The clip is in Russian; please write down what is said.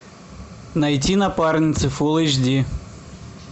найди напарницы фулл эйч ди